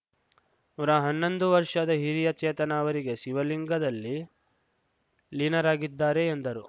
ನೂರಾ ಹನ್ನೊಂದು ವರ್ಷದ ಹಿರಿಯ ಚೇತನ ಅವರೀಗ ಶಿವಲಿಂಗದಲ್ಲಿ ಲೀನರಾಗಿದ್ದಾರೆ ಎಂದರು